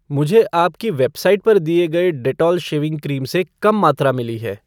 मुझे आपकी वेबसाइट पर दिए गए डेटोल शेविंग क्रीम से कम मात्रा मिली है